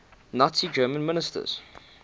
nazi germany ministers